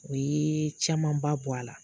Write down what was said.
O ye camanba bɔ a la